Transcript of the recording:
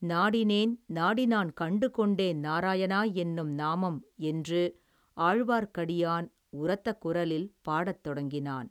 நாடினேன் நாடி நான் கண்டு கொண்டேன் நாராயணா என்னும் நாமம் என்று ஆழ்வார்க்கடியான் உரத்த குரலில் பாடத் தொடங்கினான்.